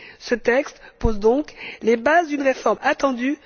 Ce texte pose donc les bases d'une réforme attendue.